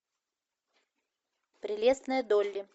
прелестная долли